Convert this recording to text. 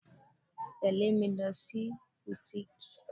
Tẹle mi lọ sí butiiki.